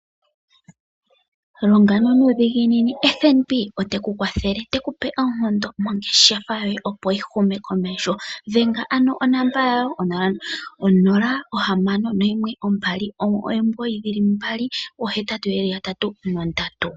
Longa nuudhiginini, FNB oteku kwathele tekupe oonkondo mongeshefa yoye opo yi hume komesho. Dhenga ano onamba yawo 0612998883